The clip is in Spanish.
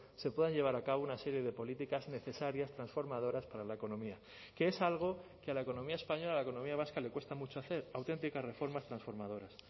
se puedan llevar a cabo una serie de políticas necesarias transformadoras para la economía que es algo que a la economía española a la economía vasca le cuesta mucho hacer auténticas reformas transformadoras